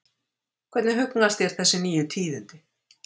Hvernig hugnast þér þessi nýju tíðindi?